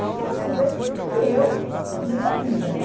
Então ele estava super... E eu descobrindo a vida, né?